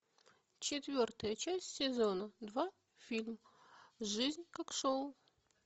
четвертая часть сезона два фильм жизнь как шоу